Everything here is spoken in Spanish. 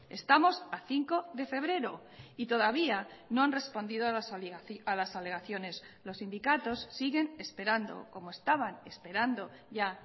estamos a cinco de febrero y todavía no han respondido a las alegaciones los sindicatos siguen esperando como estaban esperando ya